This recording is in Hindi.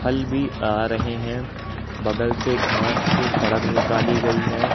हल भी आ रहे हैं बगल से घास से सड़क निकाली गई है।